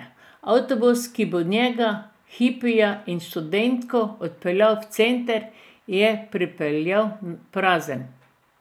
Avtobus, ki bo njega, hipija in študentko odpeljal v center, je pripeljal prazen.